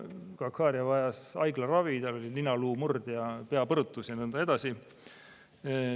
Gahharia vajas haiglaravi, tal on ninaluumurd ja peapõrutus ja nõnda edasi.